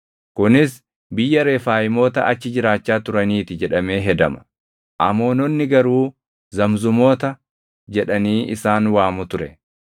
Kunis biyya Refaayimoota achi jiraachaa turaniiti jedhamee hedama; Amoononni garuu Zamzumoota jedhanii isaan waamu ture.